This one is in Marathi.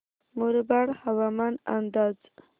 मुरबाड हवामान अंदाज